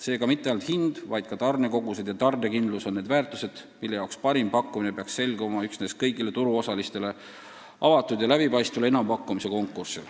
Seega mitte ainult hind, vaid ka tarnekogused ja tarnekindlus on need väärtused, mille jaoks parim pakkumine peaks selguma üksnes kõigile turuosalistele avatud ja läbipaistval enampakkumise konkursil.